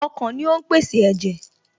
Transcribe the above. Ọkàn ni ó ń pèsè ẹ̀jẹ̀